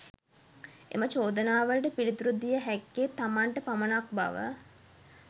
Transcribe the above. එම චෝදනාවලට පිළිතුරු දිය හැක්කේ තමන්ට පමණක් බව